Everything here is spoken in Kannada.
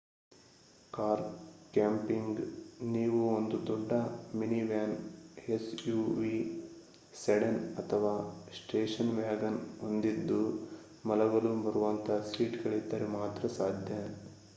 ಕಾರ್ ಕ್ಯಾಂಪಿಂಗ್ ನೀವು ಒಂದು ದೊಡ್ಡ ಮಿನಿವ್ಯಾನ್ suv ಸೆಡನ್ ಅಥವಾ ಸ್ಟೇಷನ್ ವ್ಯಾಗನ್ ಹೊಂದಿದ್ದು ಮಲಗಲು ಬರುವಂಥ ಸೀಟ್ ಗಳಿದ್ದರೆ ಮಾತ್ರ ಸಾಧ್ಯ